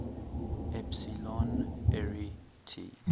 epsilon arietids